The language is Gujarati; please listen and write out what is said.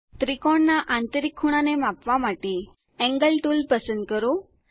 ત્રિકોણના આંતરિક ખૂણાને માપવા માટે એન્ગલ ટુલ પસંદ કરો